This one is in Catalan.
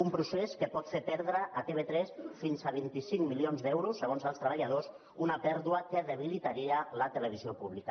un procés que pot fer perdre a tv3 fins a vint cinc milions d’euros segons els treballadors una pèrdua que debilitaria la televisió pública